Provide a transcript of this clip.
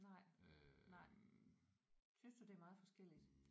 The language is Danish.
Nej nej. Synes du det er meget forskelligt?